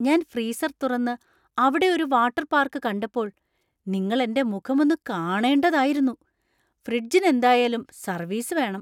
ഞാൻ ഫ്രീസർ തുറന്ന് അവിടെ ഒരു വാട്ടർ പാർക്ക് കണ്ടപ്പോൾ നിങ്ങൾ എന്‍റെ മുഖം ഒന്ന് കാണേണ്ടതായിരുന്നു. ഫ്രിഡ്ജിന് എന്തായാലും സർവീസ് വേണം.